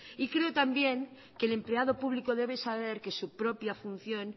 y creo también que el empleado público debe saber que su propia función